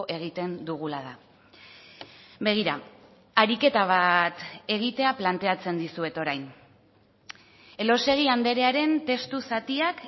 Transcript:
egiten dugula da begira ariketa bat egitea planteatzen dizuet orain elósegui andrearen testu zatiak